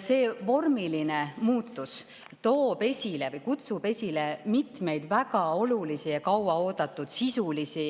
See vormiline muutus kutsub esile mitmeid väga olulisi ja kauaoodatud sisulisi